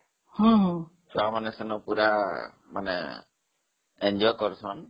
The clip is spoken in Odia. ଛୁଆମାନେ ସେଠି ପୁରା enjoy କରୁଛନ୍ତି